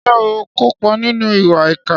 Ṣé ó kópa nínú ìwà ìkà?